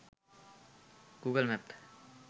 google map